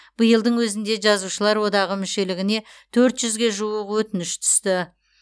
биылдың өзінде жазушылар одағы мүшелігіне төрт жүзге жуық өтініш түсті